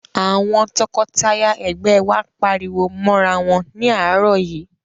Àwọn tọkọtaya ẹ̀gbẹ́ wa pariwo mọ́rawọn ní àárọ̀ yìí.